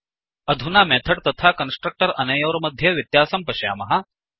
अधुना मेथड् तथा कन्स्ट्रक्टर् अनयोर्मध्ये व्यत्यासं पश्यामः